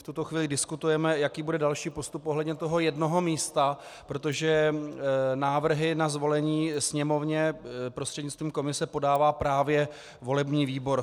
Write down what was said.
V tuto chvíli diskutujeme, jaký bude další postup ohledně toho jednoho místa, protože návrhy na zvolení Sněmovně prostřednictvím komise podává právě volební výbor.